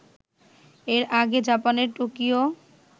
এর আগে জাপানের টোকিও